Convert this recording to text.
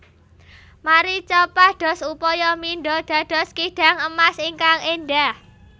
Marica pados upaya mindha dados kidang emas ingkang éndhah